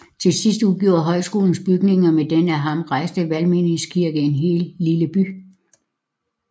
Til sidst udgjorde højskolens bygninger med den af ham rejste valgmenighedskirke en hel lille by